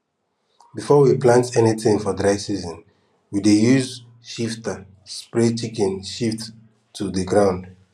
before we plant anytin for dry season we dey use shifter spray chicken shit to de ground